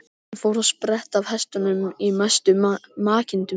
Hann fór að spretta af hestunum í mestu makindum.